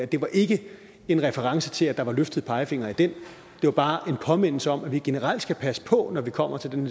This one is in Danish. det var ikke en reference til at der var løftede pegefingre i den det var bare en påmindelse om at vi generelt skal passe på når vi kommer til den